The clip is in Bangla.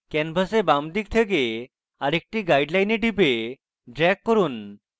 canvas বাম দিকে থেকে আরেকটি guideline টিপুন এবং drag করুন